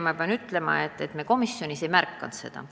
Ma pean ütlema, et me komisjonis ei märganud seda.